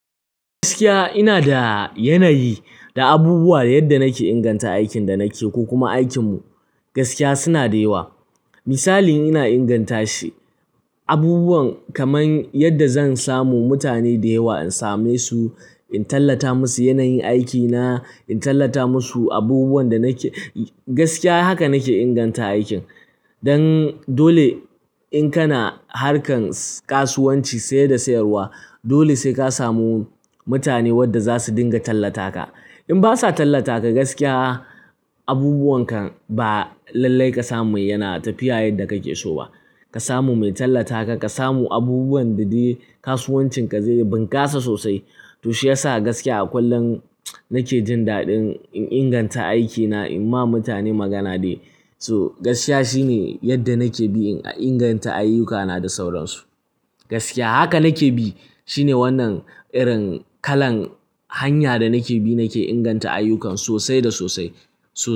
Gaskiya ina da yanayi da abubuwa yadda nake inganta aikin da nake ko kuma aikinmu gaskiya suna da yawa. Misali ina inganta shi abubuwan kamar yadda zan samu mutane da yawa in same su, in tallata musu yanayin aikina, in tallata musu abubuwan da nake gaskiya haka nake inganta aikin. Don dole in kana harkan kasuwanci saye da sayarwa dole sai ka samu mutane wadda za su dinga tallata ka. In basa tallata ka gaskiya abubuwan ka ba lallai ka samu yana tafiya yadda kake so ba. Ka samu mai tallata ka, ka samu abubuwan da de kasuwancin ka zai bunkasa sosai. To shi yasa gaskiya a kullun nake jin daɗin in inganta aikina, in ma mutane magana dai. So gaskiya shine yadda nake bi in inganta ayyukana da sauransu. Gaskiya haka nake bi shine wannan irin kalan hanya da nake bi nake inganta ayyukan sosai da sosai. So.